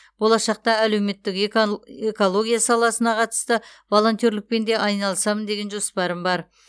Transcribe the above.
болашақта әлеуметтік экология саласына қатысты волонтерлікпен де айналысамын деген жоспарым бар